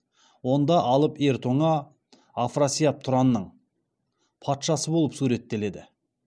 онда алып ер тоңа афрасияп тұранның патшасы болып суреттеледі